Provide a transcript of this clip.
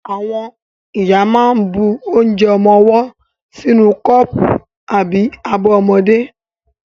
Àwọn ìyá máa ń bu onje ọmọwọ́ sínú kọ́pù àbí abọ́ ọmọdé.